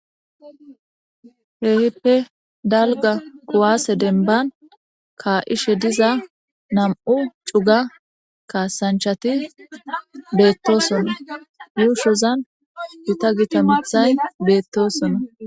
Keehippe dalga kuwasse denban ka'ishe diza nam'u cuga kasaanchati beetosona, yuushozan gita gita miththay beetosona.